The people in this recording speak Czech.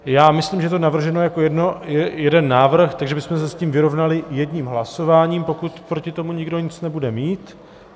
Já myslím, že je to navrženo jako jeden návrh, takže bychom se s tím vyrovnali jedním hlasováním, pokud proti tomu nikdo nic nebude mít.